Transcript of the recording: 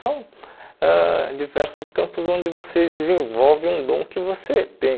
São ãh diversos campos onde você desenvolve um dom que você tem.